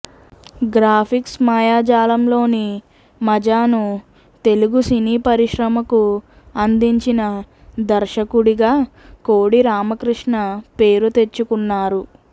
graphics మాయాజాలంలోని మజాను Telugu సినీ పరిశ్రమకు అందించిన దర్శకుడిగా కోడిరామకృష్ణ పేరు తెచ్చుకున్నారు